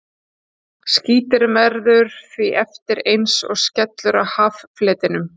Skíturinn verður því eftir eins og skellur á haffletinum.